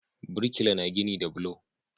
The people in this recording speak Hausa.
Birkila na gini da bulo